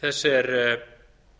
þess er